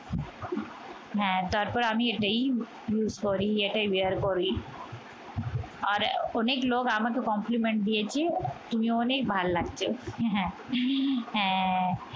হ্যাঁ তারপর আমি এটি এটাই sorry এটাই bear করি আর অনেক লোক আমাকে complement দিয়েছে তোমাকে অনেক ভালো লাগছে হ্যাঁ এহ